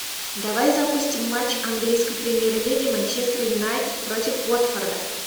давай запустим матч английской премьер лиги манчестер юнайтед против уотфорда